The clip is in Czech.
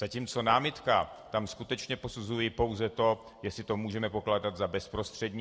Zatímco námitka, tam skutečně posuzuji pouze to, jestli to můžeme pokládat za bezprostřední.